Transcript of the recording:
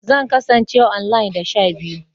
Zan kasance online da sha biyu